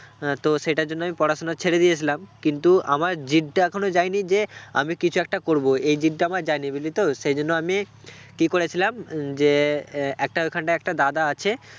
আহ তো সেটার জন্য আমি পড়াশুনা ছেড়ে দিয়েছিলাম কিন্তু আমার জিদটা এখনও যায়নি যে আমি কিছু একটা করব এই জিদটা আমার যায়নি বুঝলি তো সেই জন্য আমি কি করেছিলাম আহ যে আহ একটা ওখানটা একটা দাদা আছে